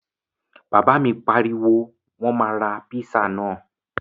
Bàbá mi pariwo, Wọ́n máa ra píṣà náà!